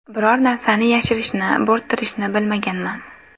Biror narsani yashirishni, bo‘rttirishni bilmaganman.